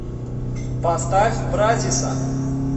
поставь бразиса